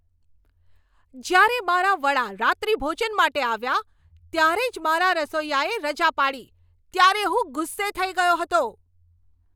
જ્યારે મારા વડા રાત્રિભોજન માટે આવ્યા ત્યારે જ મારા રસોઈયાએ રજા પાડી ત્યારે હું ગુસ્સે થઈ ગયો હતો.